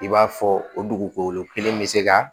I b'a fɔ o dugukolo kelen bɛ se ka